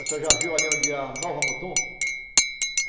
Você já viu ali onde é a Nova Mutum?